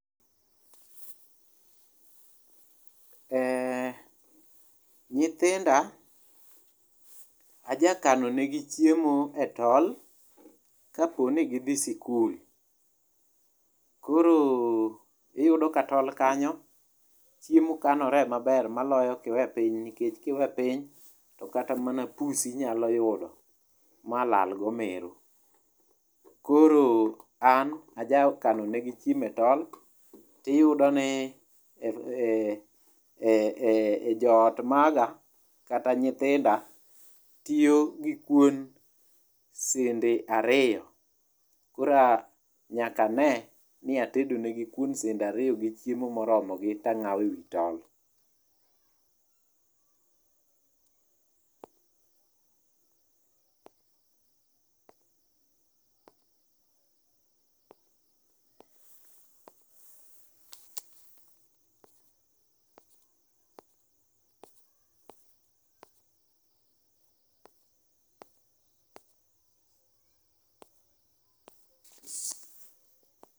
E nyithinda ajakanonegi chiemo e tol kaponi githi skul. Koro iyudo ka tol kanyo chiemo kanore maber maloyo ka iwe piny. Nikech ki we piny to kata mana pusi nyalo yudo malalgo mero. Koro an ajakanonegi chiemo e tol tiyudo ni e jo ot maga kata nyithinda tiyo gi kuon sende ariyo koro nyaka ane ni atedo negi kuon sende ariyo gi chiemo moromogi to ang'awo e wi tol.